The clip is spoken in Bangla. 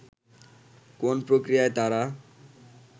কোন প্রক্রিয়ায় তারা